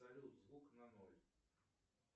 салют звук на ноль